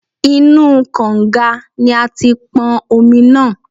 Inú u kọ̀ǹga ni a ti pọn omi náà.